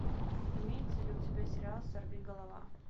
имеется ли у тебя сериал сорвиголова